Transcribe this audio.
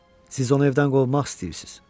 Siz onu evdən qovmaq istəyirsiz.